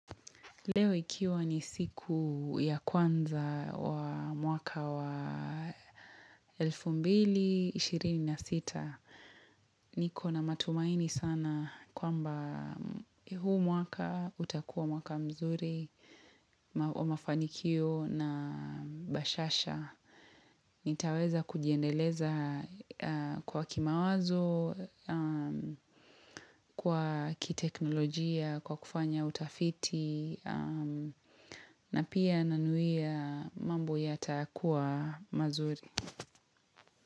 Leo ikiwa ni siku ya kwanza wa mwaka wa elfu mbili ishirini na sita, niko na matumaini sana kwamba huu mwaka utakuwa mwaka mzuri wa mafanikio na bashasha. Nitaweza kujiendeleza kwa kimawazo, kwa kiteknolojia, kwa kufanya utafiti, na pia nanuia mambo yatakua mazuri.